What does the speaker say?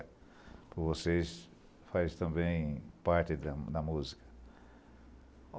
Porque vocês fazem também parte da da música.